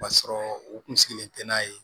Ka sɔrɔ u kun sigilen tɛ n'a ye